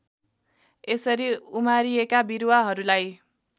यसरी उमारिएका बिरुवाहरूलाई